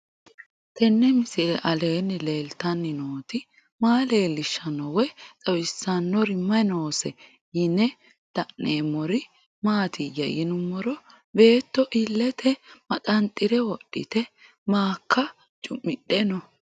Tenni misile aleenni leelittanni nootti maa leelishshanno woy xawisannori may noosse yinne la'neemmori maattiya yinummoro beetto iillette maxanxxire wodhitte maaka cu'midhe noo